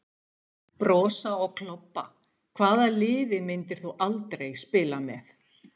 Brosa og klobba Hvaða liði myndir þú aldrei spila með?